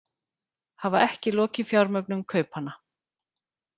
Hafa ekki lokið fjármögnun kaupanna